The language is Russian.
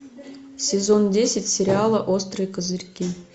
сезон десять сериала острые козырьки